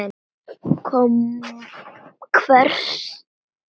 Kom hver?